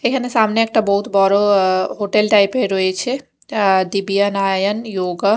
এইখানে সামনে একটা বহুৎ বড় অ্যা হোটেল টাইপ -এর রয়েছে অ্যা দিবিয়া আয়ান ইয়োগা ।